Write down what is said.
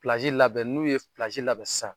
Pilazi labɛn n'u ye pilazi labɛn sisan.